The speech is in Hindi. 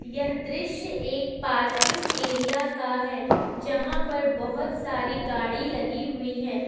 यह दृश्य एक पार्किंग एरिया का है जहां पर बहोत सारे गाड़ी लगी हुई है।